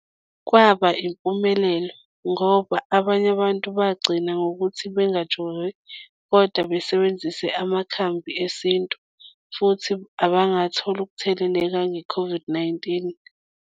Kwaba impumelelo ngoba abanye abantu bagcina ngokuthi bengajovi kodwa besebenzise amakhambi esintu futhi abangathola ukutheleleka nge-COVID-19.